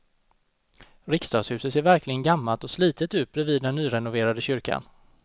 Riksdagshuset ser verkligen gammalt och slitet ut bredvid den nyrenoverade kyrkan.